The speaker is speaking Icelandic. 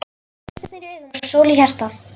Með stjörnur í augum og sól í hjarta.